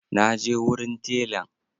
Na je wurin telan.